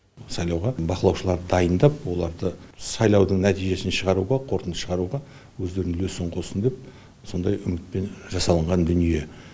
сайлауға бақылаушыларды дайындап оларды сайлаудың нәтижесін шығаруға қорытынды шығаруға өздерінің үлесін қоссын деп сондай үмітпен жасалынған дүние